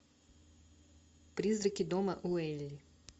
призраки дома уэйли